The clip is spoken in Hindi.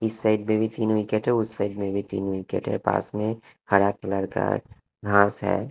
इस साइड में भी तीन विकेट है उस साइड में भी तीन विकेट है। पास में हरा कलर का घास है।